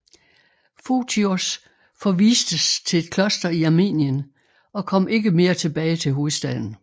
Fotios forvistes til et kloster i Armenien og kom ikke mere tilbage til hovedstaden